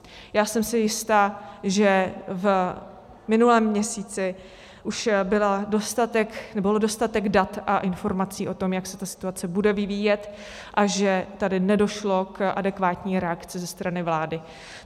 Já jsem si jistá, že v minulém měsíci už bylo dostatek dat a informací o tom, jak se ta situace bude vyvíjet, a že tady nedošlo k adekvátní reakci ze strany vlády.